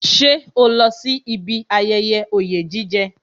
Ṣé o lọ sí ibi ayẹyẹ oye jije